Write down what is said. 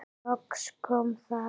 Loks kom það.